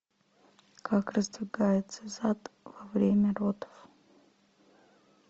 как раздвигается зад во время родов